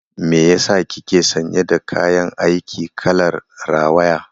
Me yasa kike sanye da kayan aiki kalar rawaya?